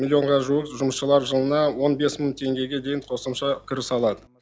миллионға жуық жұмысшылар жылына он бес мың теңгеге дейін қосымша кіріс алады